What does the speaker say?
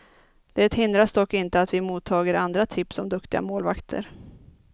Det hindrar dock inte att vi mottager andra tips om duktiga målvakter.